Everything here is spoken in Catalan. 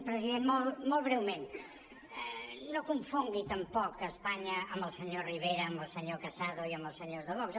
president molt breument no confongui tampoc espa·nya amb el senyor rivera amb el senyor casado i amb els senyors de vox